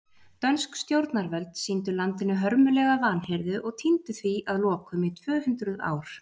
Dönsk stjórnarvöld sýndu landinu hörmulega vanhirðu og týndu því að lokum í tvö hundruð ár.